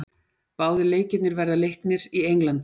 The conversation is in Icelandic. Báðir leikirnir verða leiknir í Englandi.